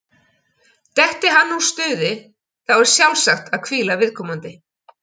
Detti hann úr stuði, þá er sjálfsagt að hvíla viðkomandi.